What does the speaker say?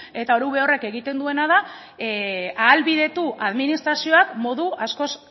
eta orube horrek egiten duena da ahalbidetu administrazioak modu askoz